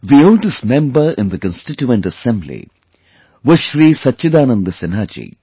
The oldest member in the Constituent Assembly was Shri Sachidananda Sinha Ji